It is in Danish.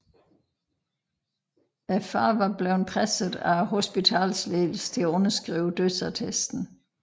Faren var blevet presset af hospitalsledelsen til underskrive dødsattesten